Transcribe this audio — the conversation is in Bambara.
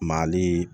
Maali